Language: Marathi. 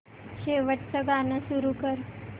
शेवटचं गाणं सुरू कर